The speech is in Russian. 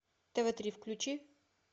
тв три включи